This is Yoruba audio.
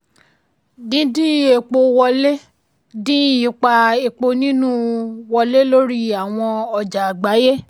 dídín epo wọlé dín ipa epo inú wọlé lórí àwọn ọjà àgbáyé.